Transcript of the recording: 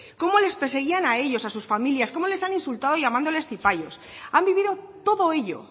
cómo les perseguían a ellos a sus familias cómo les han insultado llamándoles cipayos han vivido todo ello